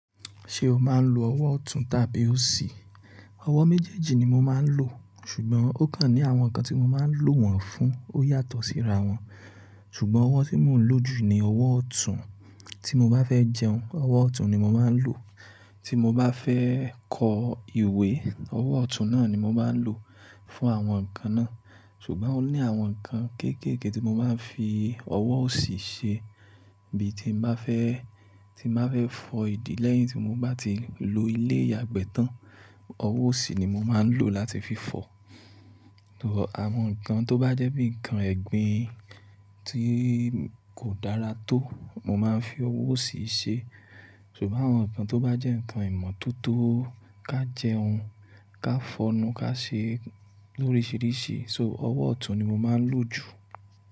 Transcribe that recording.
Ṣé o máa ń lo ọwọ́ ọ̀tún tàbí òsì? Ọwọ́ méjèèjì ni mo máa ń lò, ṣùgbọ́n ó kan ní àwọn nǹkan tí mo máa ń lò wọ́n fún ó yàtọ̀ síra wọn. Ṣùgbọ́n ọwọ́ tí mò ń lò jù ni ọwọ́ ọ̀tún. Tí mo bá fẹ́ jẹun, ọwọ́ ọ̀tún ni mo máa ń lò. Tí mo bá fẹ́ kọ ìwé, ọwọ́ ọ̀tún náà ni mo máa ń lò fún àwọn nǹkan náà. Ṣùgbọ́n ó ní àwọn nǹkan kéékèèké tí mo máa ń fi ọwọ́ òsì ṣe. Bí tí n bá fẹ́, tí n bá fẹ́ fọ ìdí lẹ́yìn tí mo bá ti lo ilé ìyàgbẹ́ tán, ọwọ́ òsì ni mo máa ń lò láti fi fọ. Àwọn nǹkan tó bá jẹ́ bíi nǹkan ẹ̀gbin tí kò dára tó, mo máa ń fi ọwọ́ òsì ṣe. Ṣùgbọ́n àwọn nǹkan tó bá jẹ́ nǹkan ìmọ́tótó, ká jẹun, ká fọnu, ká ṣe lórisìíríṣìí, so ọwọ́ ọ̀tún ni mo máa ń lò jù.